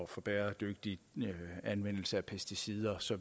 for bæredygtig anvendelse af pesticider så